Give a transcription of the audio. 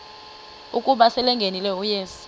ukuba selengenile uyesu